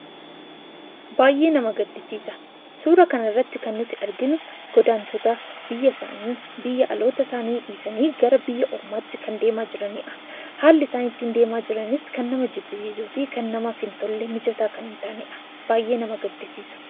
Baayyee nama gaddisiisa! Suuraa kanarratti kan nuti arginu, godaantota biyya isaanii, biyya dhaloota isaanii dhiisanii gara biyya ormaatti deemaa jiranidha. Haalli isaan ittiin deemaa jiranis baayyee kan nama jibbisiisuufi namaaf hin tolle mijataa kan hin taanedha. Baayyee nama gaddisiisu!